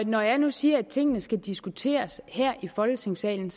når jeg nu siger at tingene skal diskuteres her i folketingssalen